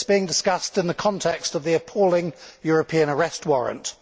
it is being discussed in the context of the appalling European arrest warrant.